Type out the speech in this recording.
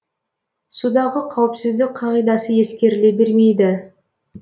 судағы қауіпсіздік қағидасы ескеріле бермейді